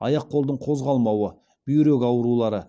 аяқ қолдың қозғалмауы бүйрек аурулары